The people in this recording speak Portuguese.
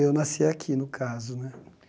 Eu nasci aqui, no caso, né?